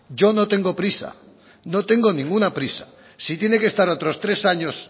yo no tengo prisa no tengo ninguna prisa si tiene que estar otros tres años